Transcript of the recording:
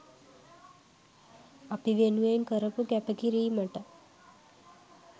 අපි වෙනුවෙන් කරපු කැපකිරීමට